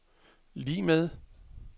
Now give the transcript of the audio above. lig med